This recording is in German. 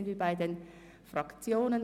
Nun kommen wir zu den Fraktionen.